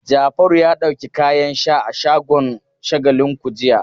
Jafaru ya ɗauki kayan sha a shagon Shagalinku jiya.